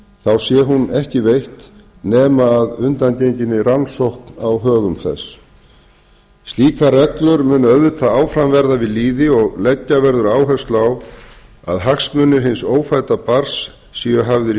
þá sé hún ekki veitt nema að undangenginni rannsókn á högum þess slíkar reglur munu auðvitað áfram verða við lýði og leggja verður áherslu á að hagsmunir hins ófædda barns séu hafðar í